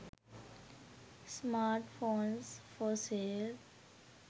smartphones for sale